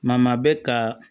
Maa maa bɛ ka